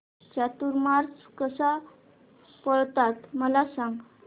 चातुर्मास कसा पाळतात मला सांग